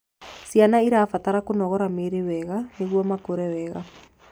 Ciana irabatara kũnogora miiri wega nĩguo makure wega